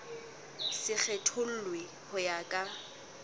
se kgethollwe ho ya ka